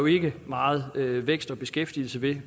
ikke meget vækst og beskæftigelse ved